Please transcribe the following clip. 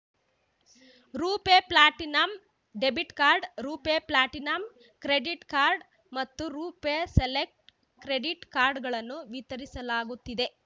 ರೂಪೆ platinum debit card RuPay platinum credit card ಮತ್ತು RuPay select credit ಕಾರ್ಡ್‌ಗಳನ್ನು ವಿತರಿಸಲಾಗುತ್ತಿದೆ